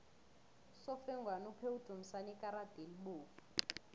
usofengwana uphe udumisani ikarada elibovu